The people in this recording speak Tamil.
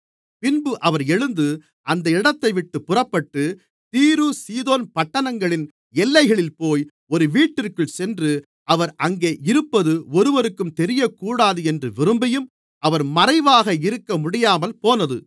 பின்பு அவர் எழுந்து அந்த இடத்தைவிட்டுப் புறப்பட்டு தீரு சீதோன் பட்டணங்களின் எல்லைகளில்போய் ஒரு வீட்டிற்குள் சென்று அவர் அங்கே இருப்பது ஒருவருக்கும் தெரியக்கூடாது என்று விரும்பியும் அவர் மறைவாக இருக்கமுடியாமல்போனது